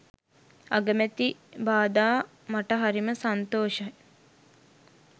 අගමැති බාධා මට හරිම සන්තෝෂයි